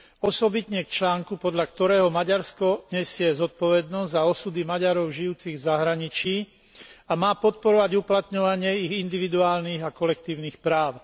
Osobitne k článku, podľa ktorého Maďarsko nesie zodpovednosť za osudy Maďarov žijúcich v zahraničí a má podporovať uplatňovanie ich individuálnych a kolektívnych práv.